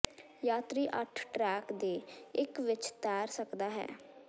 ਯਾਤਰੀ ਅੱਠ ਟਰੈਕ ਦੇ ਇੱਕ ਵਿੱਚ ਤੈਰ ਸਕਦਾ ਹੈ